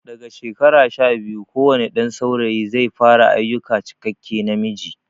Daga shekara sha biyu kowane ɗan saurayi zai fara ayukan cikakke namiji